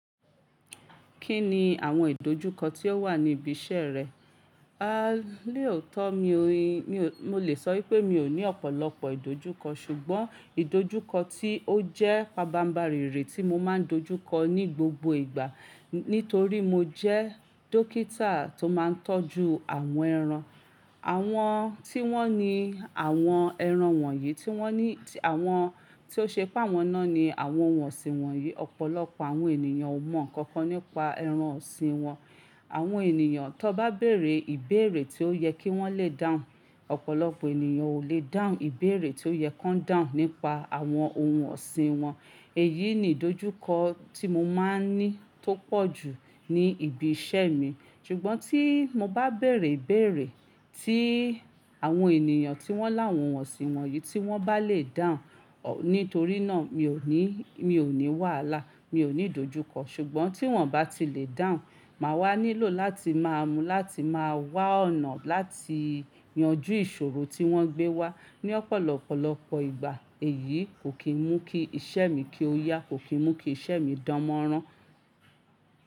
Kí ni àwọn ìdojúkọ tí ó wà ní ibi iṣẹ́ rẹ? A lèòótọ́ mi ò ní, mo lè sọ pé mi ò ní ọ̀pọ̀lọpọ̀ ìdojúkọ ṣùgbọ́n ìdojúkọ tí ó jẹ́ pabá mbarìnrìn re tí mo máa ń dojúkọ ní gbogbo ìgbà nítorí mo jẹ́ dókítà tó máa ń tọ́jú àwọn ẹran. Àwọn tí wọ́n ní àwọn ẹran wọ̀nyí tí wọ́n ní àwọn tí ó ṣe pá wọn náà ni àwọn ohun ọ̀sìn wọ̀nyí. Ọ̀pọ̀lọpọ̀ àwọn ènìyàn ò mọ nǹkan kan nípa ẹran ọ̀sìn wọn. Àwọn ènìyàn tó bá bèrè ìbèèrè tí ó yẹ kí wọ́n lè dáhùn, ọ̀pọ̀lọpọ̀ ènìyàn ò lè dáhùn ìbèèrè tí ó yẹ kí wọ́n dáhùn nípa àwọn ohun ọ̀sìn wọn. Èyí ni ìdojúkọ tí mo máa ń ní tó pọ̀jù ní ibi iṣẹ́ mi ṣùgbọ́n tí mo bá bèrè ìbèèrè tí àwọn ènìyàn tí wọ́n láwọn ohun ọ̀sìn wọ̀nyí yí wọ́n bá lè dáhùn, nítorí náà mi ò ní, mi ò ní wàhálà, mi ò ní ìdojúkọ ṣùgbọ́n tí wọ́n bá ti lè dáhùn, màá wá nílò láti máa mú láti máa wá ọ̀nà láti yanjú ìṣòro tí wọ́n gbé wá ní ọ̀pọ̀lọpọ̀lọpọ̀ ìgbà. Èyí kò kí mú kí iṣẹ́ mi kí ó yá, kò kí mú kí iṣẹ́ mi dánmọ́rán.